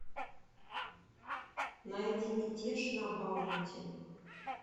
найди мятеж на баунти